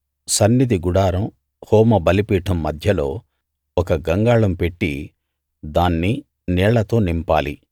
సన్నిధి గుడారం హోమ బలిపీఠం మధ్యలో ఒక గంగాళం పెట్టి దాన్ని నీళ్ళతో నింపాలి